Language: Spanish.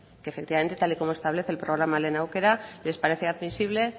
que efectivamente tal y como establece el programa lehen aukera les parece admisible